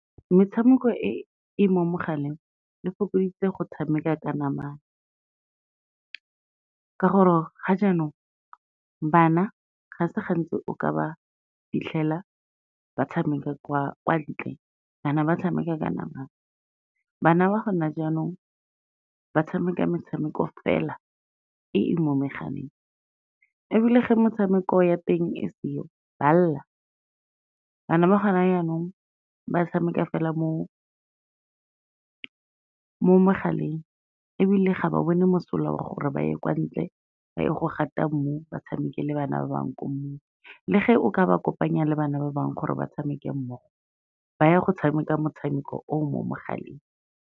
Metshameko e e mo mogaleng e fokoditse go tshameka ka namana, ka gore ga jaanong bana ga se gantsi o ka ba fitlhela ba tshameka kwa ntle, kana ba tshameka ka namana. Bana ba gone jaanong ba tshameka metshameko fela, e e mo megaleng ebile ge metshameko ya teng e seo ba lela, bana ba gone jaanong, ba tshameka fela mo mogaleng ebile ga ba bone mosola wa gore ba ye kwa ntle, ba ye go gata mmu batshameke le bana ba bangwe ko mmung. Le ge o ka ba kopanya le bana ba bangwe gore ba tshameke mmogo, ba ya go tshameka motshameko o mo mogaleng.